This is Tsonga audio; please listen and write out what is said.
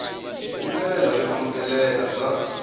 hi ndlela yo amukeleka bya